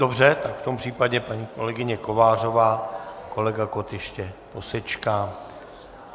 Dobře, takže v tom případě paní kolegyně Kovářová, kolega Kott ještě posečká.